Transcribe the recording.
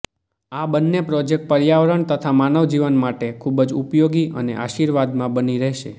આ બંને પ્રોજેકટ પર્યાવરણ તથા માનવજીવન માટે ખૂબજ ઉપયોગી અને આશિર્વાદમાં બની રહેશે